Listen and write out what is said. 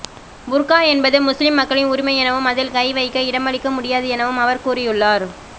புர்கா என்பது முஸ்லிம் மக்களின் உரிமை எனவும் அதில் கை வைக்க இடமளிக்க முடியாது எனவும் அவர் கூறியுள்ளார்